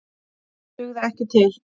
Það dugði ekki til.